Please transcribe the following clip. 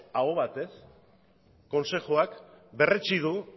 aho batez kontseiluak berretsi du